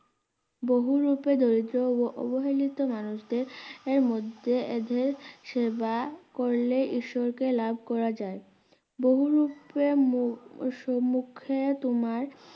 বহুরূপে দরিদ্র ও অবহেলিত মানুষদের মধ্যে দিয়ে সেবা করলে ঈশ্বরকে লাভ করা যায় বহুরূপে মো~সমুখে তোমার